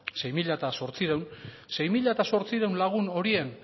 sei mila zortziehun sei mila zortziehun lagun horien